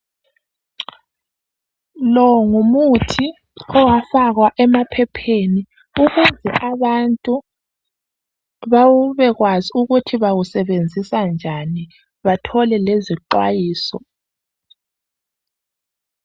Lo ngumuthi owafakwa emaphepheni okuze abantu babekwazi ukuthi bawusebenzisa njani, bathole ngeziqwayiso.